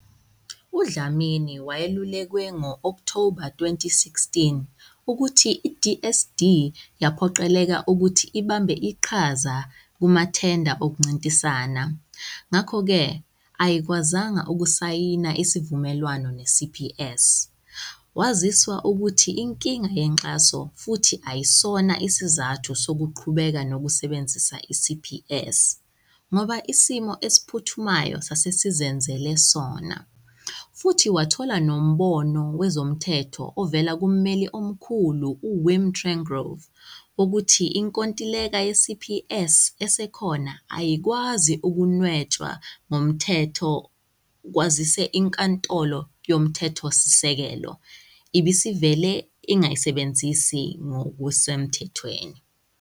UDlamini wayelulekwe ngo-Okthoba 2016 ukuthi i-DSD yaphoqeleka ukuthi ibambe iqhaza kumathenda okuncintisana, ngakho-ke ayikwazanga ukusayina isivumelwano neCPS, waziswa ukuthi inkinga yenkxaso futhi ayisona isizathu sokuqhubeka nokusebenzisa i-CPS, ngoba isimo esiphuthumayo sase sizenzele sona, futhi wathola nombono wezomthetho ovela kummeli omkhulu uWim Trengove wokuthi inkontileka ye-CPS esekhona ayikwazi ukunwetshwa ngokomthetho kwazise iNkantolo Yomthethosisekelo ibisivele ingayisebenzisi ngokusemthethweni.